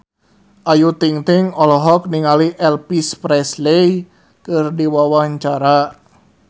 Ayu Ting-ting olohok ningali Elvis Presley keur diwawancara